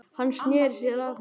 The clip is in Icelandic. Hann sneri sér að henni aftur.